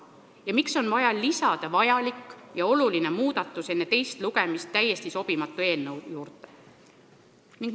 Ja miks on vaja oluline ja vajalik muudatus enne teist lugemist täiesti sobimatu eelnõu juurde lisada?